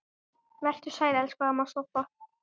Vertu sæl, elsku amma Soffa.